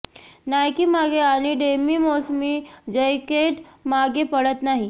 Nike मागे आणि डेमी मोसमी जैकेट मागे पडत नाही